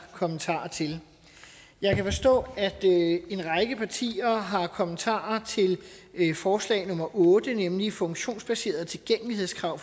kommentarer til jeg kan forstå at en række partier har kommentarer til forslag nummer otte nemlig funktionsbaserede tilgængelighedskrav